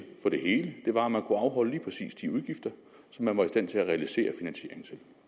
for det hele var at man kunne afholde lige præcis de udgifter som man var i stand til at realisere finansiering til